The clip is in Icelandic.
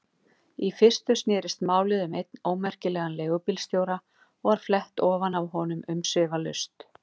Í fyrstu snerist málið um einn ómerkilegan leigubílstjóra og var flett ofan af honum umsvifalaust.